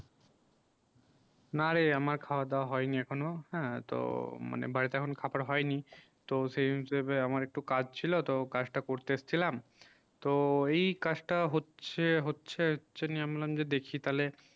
না রে আমার খাওয়া দাওয়া হয়নি এখনো হ্যাঁ তো মানে বাড়িতে এখন খাবার হয় নি তো সেই হিসাবে আমার একটু কাজ ছিল তো সেই কাজ তা করতে যাচ্ছিলাম তো এই কাজ টা হচ্ছে হচ্ছে হচ্ছে দেখি তালে